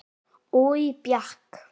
Oj bjakk.